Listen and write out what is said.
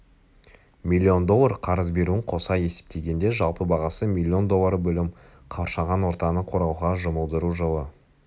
миллион доллар қарыз беруін қоса есептегенде жалпы бағасы миллион доллары бөлім қоршаған ортаны қорғауға жұмылдыру жылы